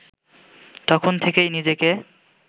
তখন থেকেই নিজেকে